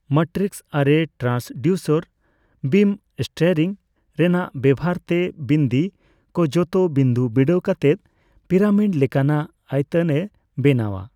Matrix ᱟᱨᱮ transducer beam steering ᱨᱮᱱᱟᱜ ᱵᱮᱵᱷᱟᱨ ᱛᱮ ᱵᱤᱱᱫᱤ ᱠᱚ ᱡᱷᱚᱛᱚ ᱵᱤᱱᱫᱩ ᱵᱤᱰᱟᱹᱣ ᱠᱟᱛᱮᱫ ᱯᱤᱨᱟᱢᱤᱰ ᱞᱮᱠᱟᱱᱟᱜ ᱟᱭᱛᱟᱱ ᱮ ᱵᱮᱱᱟᱣᱼᱟ ᱾